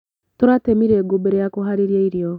Tũratemire ngũ mbere ya kũharĩria irio.